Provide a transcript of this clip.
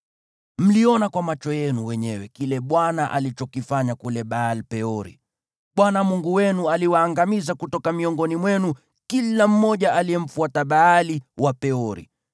Mliona kwa macho yenu wenyewe kile Bwana alichokifanya kule Baal-Peori. Bwana Mungu wenu aliwaangamiza kutoka miongoni mwenu kila mmoja aliyemfuata Baali wa Peori,